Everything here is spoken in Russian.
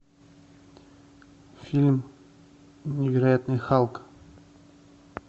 фильм невероятный халк